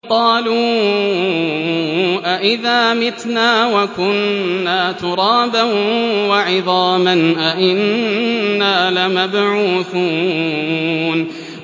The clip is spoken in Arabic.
قَالُوا أَإِذَا مِتْنَا وَكُنَّا تُرَابًا وَعِظَامًا أَإِنَّا لَمَبْعُوثُونَ